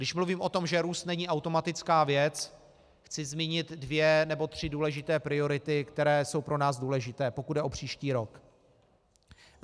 Když mluvím o tom, že růst není automatická věc, chci zmínit dvě nebo tři důležité priority, které jsou pro nás důležité, pokud jde o příští rok.